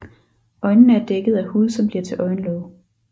Øjnene er dækket af hud som bliver til øjenlåg